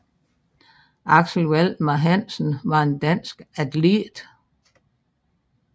Axel Valdemar Hansen var en dansk atlet